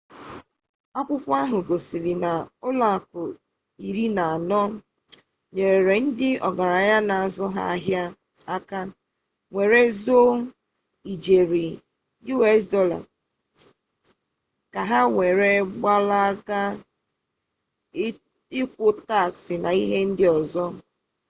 akwukwo ahu gosiri na ulo aku iri na ano nyere ndi ogaranya n'azu ha ahia aka were zoo ijeri us dollars ka ha were gbalaga ikwu tax na ihe ndi ozo